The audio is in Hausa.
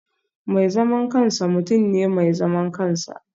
Mai zaman kansa mutum ne mai zaman kansa